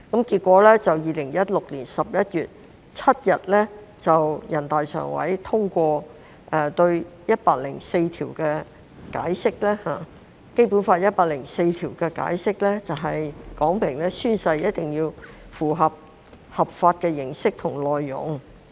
結果 ，2016 年11月7日全國人民代表大會常務委員會通過對《基本法》第一百零四條的解釋，說明宣誓一定要符合法定的形式和內容要求。